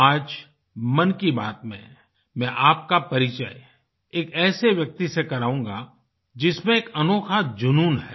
आज मन की बात में मैं आपका परिचय एक ऐसे व्यक्ति से कराऊँगा जिसमें एक अनोखा जुनून है